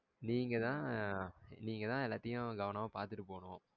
நீங்கதா நீங்கதா எல்லத்தையும் பாத்துட்டு போகனும்.